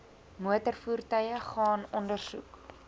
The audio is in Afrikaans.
motorvoertuie gaan ondersoek